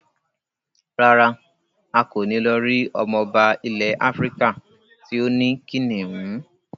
Rárá, a kò ní lọ rí ọmọba ilẹ̀ Áfíríkà tí ó ní kìnnìún.